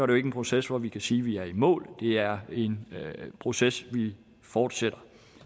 det ikke en proces hvorom vi kan sige at vi er i mål det er en proces vi fortsætter